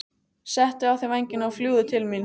Settu á þig vængina og fljúgðu til mín.